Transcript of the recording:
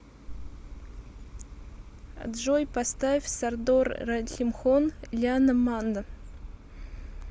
джой поставь сардор рахимхон яна манда